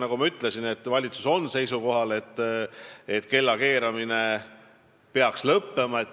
Nagu ma ütlesin, valitsus on seisukohal, et kellakeeramine peaks lõppema.